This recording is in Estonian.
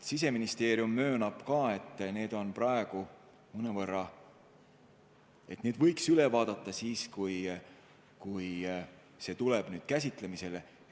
Siseministeerium möönab, et need on praegu mõnevõrra väikesed ja need võiks üle vaadata, kui see teema käsitlemisele tuleb.